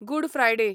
good Friday